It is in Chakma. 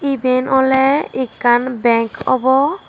iben oley ekkan bank obo.